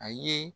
A ye